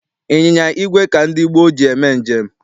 Ịnyịnya igwe ka ndị gboo ji eme njem.